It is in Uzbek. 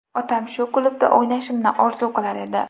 Otam shu klubda o‘ynashimni orzu qilar edi.